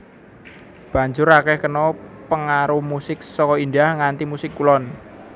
Banjur akèh kena pangaruh musik saka India nganti musik Kulon